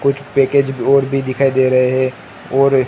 कुछ पैकेज ब और भी दिखाई दे रहे है और--